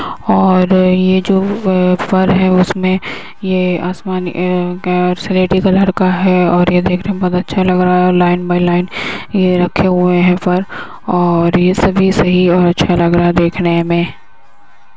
और ये जो अ फर है उसमें ये आसमानी ए सेलेटी कलर का है और ये देखने में बहोत अच्छा लग रहा है और लाइन बाय लाइन ये रखें हुए हैं फर और ये सभी से ही और अच्छा लग रहा है देखने में --